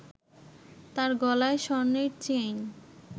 তার গলায় স্বর্ণের চেইন